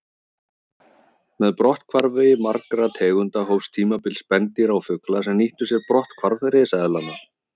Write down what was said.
Með brotthvarfi margra tegunda hófst tímabil spendýra og fugla sem nýttu sér brotthvarf risaeðlanna.